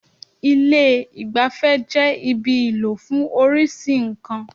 Ilé ìgbafẹ́ jẹ́ ibi ìlò fún oríṣi nǹkan.